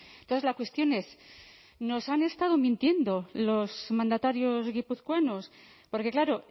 entonces la cuestión es nos han estado mintiendo los mandatarios guipuzcoanos porque claro